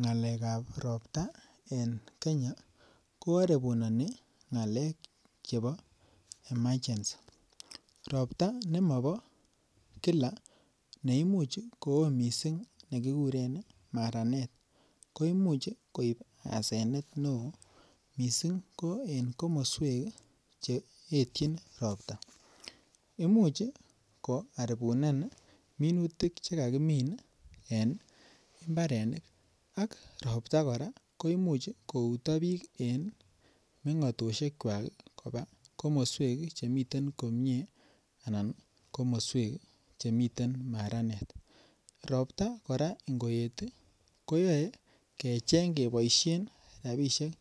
Ngalekab ropta en Kenya ko aribunani ngalek chebo emergency. Ropta nemabo kila neimuch koo mising nekikuren maranet ko imuch koib asenet neo mising ko en komoswek cheetyin ropta. Imuch koaribunan minutik che kakimin en imbarenik ak rotpta kora koimuch kouto biik en mengatosikwak koba komiswek che miten komye anan komoswek che miten maranet. Ropta kora ingoet koyae kecheng keboisien rapisiek